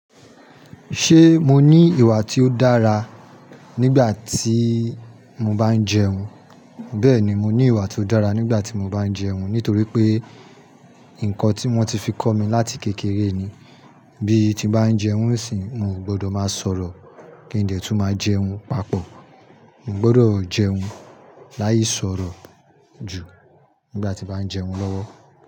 Ṣé mo ní ìwà tí ó dára nígbà tí mo bá ń jẹun? Bẹ́ẹ̀ni, mo ní ìwà tó dára nígbà tí mo bá ń jẹun, nítorí pé nǹkan tí wọ́n ti fi kọ́ mi láti kékeré ni. Bí ti n bá ń jẹun sì, mio gbọ́dọ̀ máa sọ̀rọ̀ kí n dè tún máa jẹun papọ̀. Mo gbọ́dọ̀ jẹun láì sọ̀rọ̀ ju nígbà tí n bàá ń jẹun lọ́wọ́.